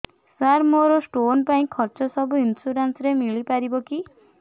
ସାର ମୋର ସ୍ଟୋନ ପାଇଁ ଖର୍ଚ୍ଚ ସବୁ ଇନ୍ସୁରେନ୍ସ ରେ ମିଳି ପାରିବ କି